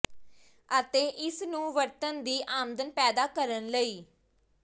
ਅਤੇ ਇਸ ਨੂੰ ਵਰਤਣ ਦੀ ਆਮਦਨ ਪੈਦਾ ਕਰਨ ਲਈ